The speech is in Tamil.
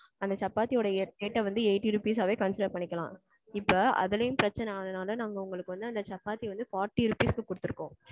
அந்த சப்பாத்தி ஓட rate அ வந்து eighty rupees ஆகவே consider பண்ணிக்கலாம். இப்போ அதுலேயும் பிரச்சனை ஆகுற நால நாங்க உங்களுக்கு வந்து அந்த சப்பாத்தி வந்து forty rupees க்கு குடுத்திருக்கோம்.